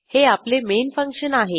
हे आपले main function आहे